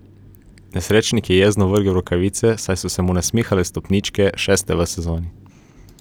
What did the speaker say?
Nesrečnik je jezno vrgel rokavice, saj so se mu nasmihale stopničke, šeste v sezoni.